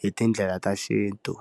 hi tindlela ta xintu.